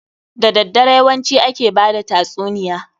Da daddare yawanci ake bada tatsuniya.